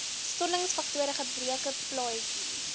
stollingsfaktor gebreke plaatjie